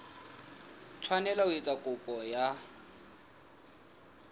tshwanela ho etsa kopo ya